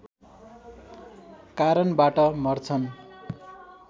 कारणबाट मर्छन्